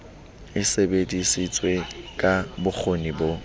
e sebedisitswe ka bokgoni bo